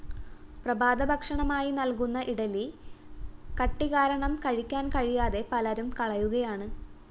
പ്രഭാതഭക്ഷണമായി നല്‍കുന്ന ഇഡലി കട്ടികാരണം കഴിക്കാന്‍ കഴിയാതെ പലരും കളയുകയാണ്